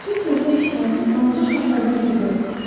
Fil sözünü eşidəndə Balaca Şahzadə güldü.